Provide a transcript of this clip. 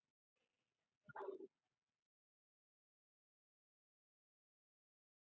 Augu og snoppa eru kolsvört sem gerir allt andlitsfall dýrsins afar sérkennilegt og fallegt.